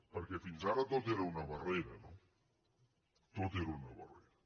perquè fins ara tot era una barrera tot era una barrera